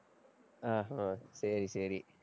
ஆஹ் ஹம் சரி, சரி